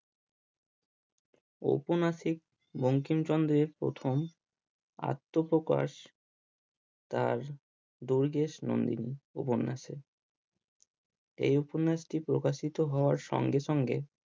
উপন্যাসিক বঙ্কিমচন্দ্রের প্রথম আত্মপ্রকাশ তার দুর্গেশ নন্দিনী উপন্যাসে এই উপন্যাসটি প্রকাশিত হওয়ার সঙ্গে সঙ্গে